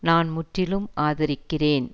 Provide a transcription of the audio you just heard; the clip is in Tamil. நான் முற்றிலும் ஆதரிக்கிறேன்